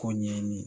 Ko ɲɛɲini